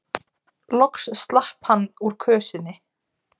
Loks slapp hann úr kösinni.